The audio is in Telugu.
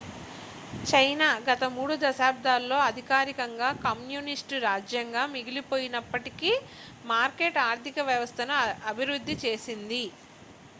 చైనా గత మూడు దశాబ్దాల్లో అధికారికంగా కమ్యూనిస్టు రాజ్యంగా మిగిలిపోయినప్పటికీ మార్కెట్ ఆర్థిక వ్యవస్థను అభివృద్ధి చేసింది